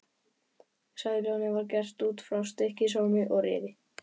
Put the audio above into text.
Sæljónið var gert út frá Stykkishólmi og Rifi.